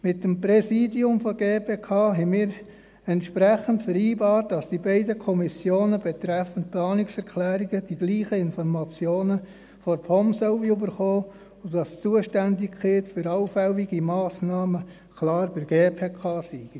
Mit dem Präsidium der GPK haben wir entsprechend vereinbart, dass die beiden Kommissionen betreffend Planungserklärungen dieselben Informationen von der POM erhalten sollen und dass die Zuständigkeit für allfällige Massnahmen klar bei der GPK ist.